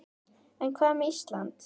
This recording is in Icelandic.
En hvað með Ísland.